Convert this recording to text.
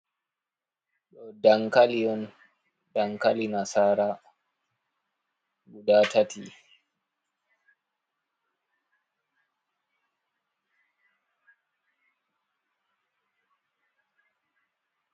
Ɗo dankali on, dankali nasara. Guda tati.